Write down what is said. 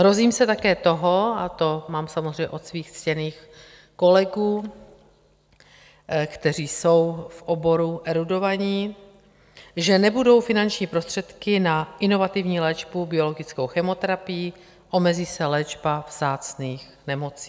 Hrozím se také toho, a to mám samozřejmě od svých ctěných kolegů, kteří jsou v oboru erudovaní, že nebudou finanční prostředky na inovativní léčbu biologickou, chemoterapii, omezí se léčba vzácných nemocí.